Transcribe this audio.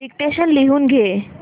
dictation लिहून घे